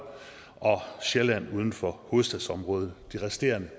og sjælland uden for hovedstadsområdet det resterende